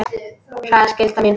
Það er skylda mín.